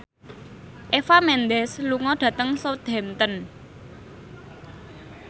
Eva Mendes lunga dhateng Southampton